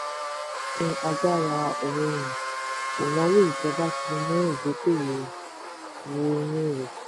ìsọdọ̀tun agbára òòrùn: ìnáwó ìjọba ti mú ìdókòwó wọ inú rẹ̀.